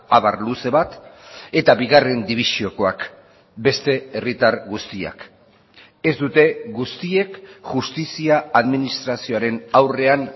abar luze bat eta bigarren dibisiokoak beste herritar guztiak ez dute guztiek justizia administrazioaren aurrean